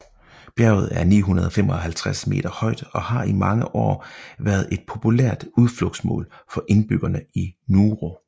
Bjerget er 955 meter højt og har i mange år været et populært udflugtsmål for indbyggerne i Nuoro